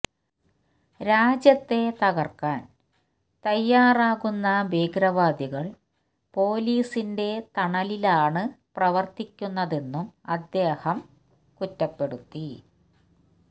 രാജ്യത്തെ തകര്ക്കാന് തയ്യാറാകുന്ന ഭീകരവാദികള് പോലീസിന്റെ തണലിലാണ് പ്രവര്ത്തിക്കുന്നതെന്നും അദ്ദേഹം കുറ്റപ്പെടുത്തി